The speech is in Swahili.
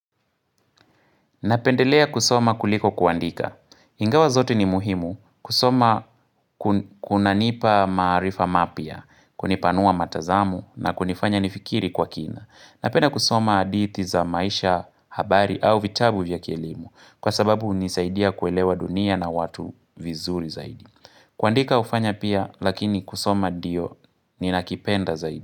Napendelea kusoma kuliko kuandika. Ingawa zote ni muhimu kusoma kunanipa maarifa mapya, kunipanua matazamo na kunifanya nifikiri kwa kina. Napenda kusoma hadithi za maisha habari au vitabu vya keilimu kwa sababu hunisaidia kuelewa dunia na watu vizuri zaidi. Kuandika hufanya pia lakini kusoma ndio ninakipenda zaidi.